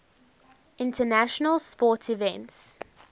international sports events